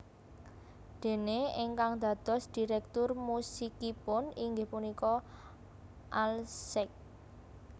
Déné ingkang dados direktur musikipun inggih punika Al Sack